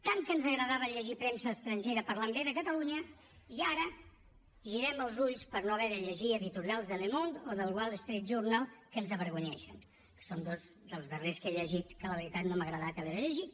tant que ens agradava llegir premsa estrangera parlant bé de catalunya i ara girem els ulls per no haver de llegir editorials de le monde o del wall street journalque ens avergonyeixen que són dos dels darrers que he llegit que la veritat no m’ha agradat haver de llegir